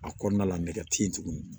A kɔnɔna la nɛgɛ te yen tuguni